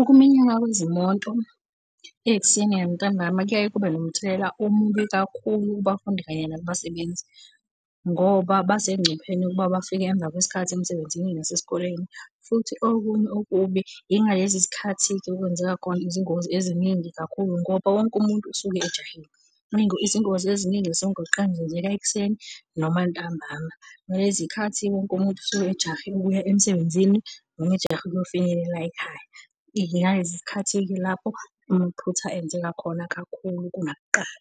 Ukuminyana kwezimoto ekuseni nantambama kuyaye kube nomthelela omubi kakhulu kubafundi kanye nakubasebenzi ngoba basengcupheni ukuba bafike emva kwesikhathi emsebenzini nasesikoleni. Futhi okunye okubi yingalezi zikhathi-ke okwenzeka khona izingozi eziningi kakhulu ngoba wonke umuntu usuke ejahile. Izingozi eziningi zasemgwaqeni zenzeka ekuseni noma ntambama. Ngalezi y'khathi wonke umuntu usuke ejahe ukuya emsebenzini, noma ejahe ukuyofinyelela ekhaya. Yingalesi sikhathi-ke lapho amaphutha enzeka khona kakhulu kunakuqala.